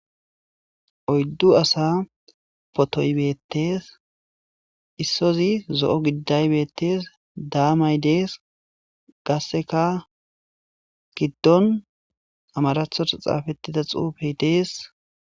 Oyddu asa potoybeettees issozi zo'o giddaybettes daamay dees gasseka giddon amarathota xaafettida xuufey dees